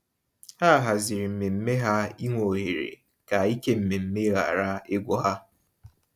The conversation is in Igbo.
Ha hazịri mmemme ha ịnwe ohere, ka ike mmemme ghara igwu ha.